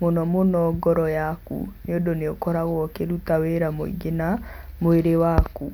mũno mũno ngoro yaku nĩ ũndũ nĩ ũkoragwo ũkĩruta wĩra mũingĩ na mwĩrĩ waku.